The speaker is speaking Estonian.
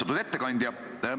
Austatud ettekandja!